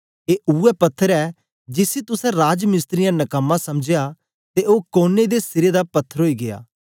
ऐ उवै पत्थर ए जिसी तुसें राजमिस्त्रियें नकमां समझया ते ओ कोने दे सिरे दा पत्थर ओई गीया